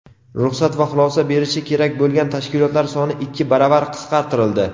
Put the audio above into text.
ruxsat va xulosa berishi kerak bo‘lgan tashkilotlar soni ikki baravar qisqartirildi.